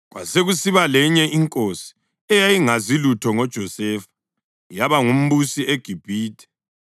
Kwasekusiba lenye inkosi eyayingazi lutho ngoJosefa, yaba ngumbusi eGibhithe.